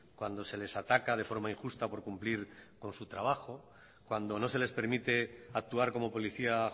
cuando se les ataca de forma injusta por cumplir con su trabajo cuando no se les permite actuar como policía